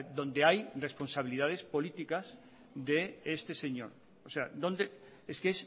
donde hay responsabilidades políticas de este señor o sea dónde es que